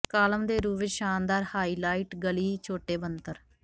column ਦੇ ਰੂਪ ਵਿਚ ਸ਼ਾਨਦਾਰ ਹਾਈਲਾਈਟ ਗਲੀ ਛੋਟੇ ਬਣਤਰ